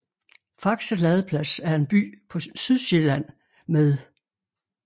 Faxe Ladeplads er en by på Sydsjælland med